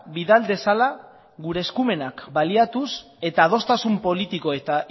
bidal dezala gure eskumenak baliatuz eta adostasuna politiko eta